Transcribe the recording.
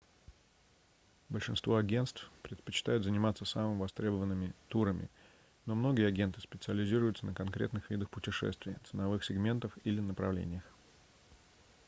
большинство агентств предпочитают заниматься самыми востребованными турами но многие агенты специализируются на конкретных видах путешествий ценовых сегментах или направлениях